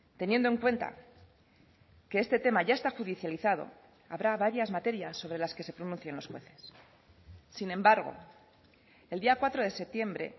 teniendo en cuenta que este tema ya está judicializado habrá varias materias sobre las que se pronuncien los jueces sin embargo el día cuatro de septiembre